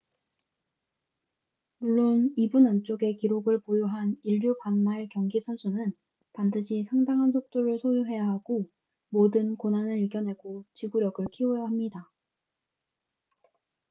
물론 2분 안쪽의 기록을 보유한 일류 반 마일 경기 선수는 반드시 상당한 속도를 소유해야 하고 모든 고난을 이겨내고 지구력을 키워야 합니다